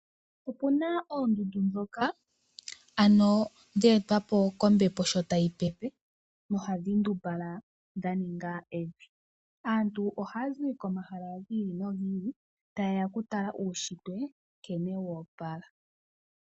Opuna oondundu dhoka ano dheetwa po kombepo sho tayi pepe, nohadhi ndumbalala dha ninga evi. Aantu ohaya zi komahala gi ili nogi ili ta yeya okutala uushitwe nkene woopala.